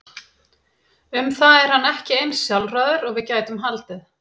Um það er hann ekki eins sjálfráður og við gætum haldið.